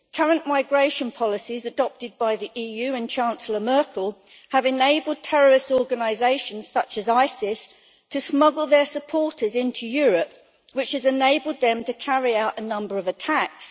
Current migration policies adopted by the EU and Chancellor Merkel have enabled terrorist organisations such as ISIS to smuggle their supporters into Europe, which has enabled them to carry out a number of attacks.